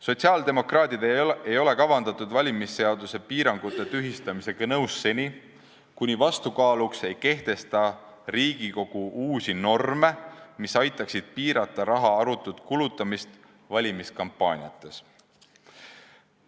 Sotsiaaldemokraadid ei ole valimisseaduste piirangute tühistamisega nõus seni, kuni Riigikogu ei kehtesta vastukaaluks uusi norme, mis aitaksid piirata raha arutut kulutamist valimiskampaaniates.